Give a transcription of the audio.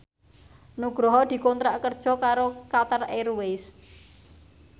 Nugroho dikontrak kerja karo Qatar Airways